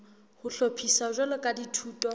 ho hlophiswa jwalo ka dithuto